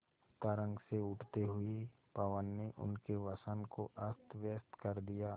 तरंग से उठते हुए पवन ने उनके वसन को अस्तव्यस्त कर दिया